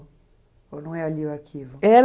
Ou não é ali o arquivo? Era